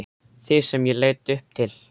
Þig sem ég leit upp til.